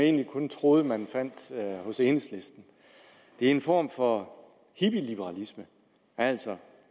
egentlig kun troede man fandt hos enhedslisten det er en form for hippieliberalisme altså